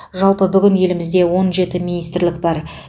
жалпы бүгінде елімізде он жеті министрлік бар